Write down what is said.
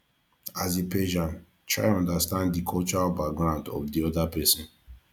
as a persian try understand di cultural background of di oda person